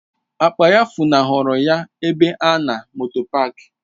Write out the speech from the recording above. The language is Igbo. Akpa ya funahụrụ ya n'ebe a na moto paak.